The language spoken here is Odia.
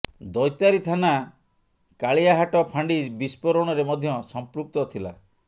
ଦୈତାରୀ ଥାନା କାଳିଆହାଟ ଫାଣ୍ଡି ବିସ୍ଫୋରଣରେ ମଧ୍ୟ ସମ୍ପୃକ୍ତ ଥିଲା